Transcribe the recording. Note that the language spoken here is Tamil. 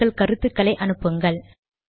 உங்கள் கருத்துகளை அனுப்புக்கள்